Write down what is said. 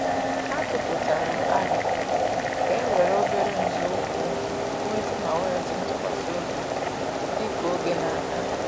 Ha tụ aputara aro ka e were obere nzọụkwụ wulite ma weghachi ntụkwasị obi dika oge na aga